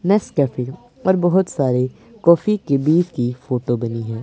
Nescafe और बहोत सारे कॉफी के बीच की फोटो बनी है।